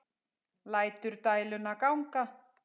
Lætur dæluna ganga.